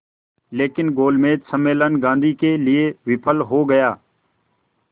लेकिन गोलमेज सम्मेलन गांधी के लिए विफल हो गया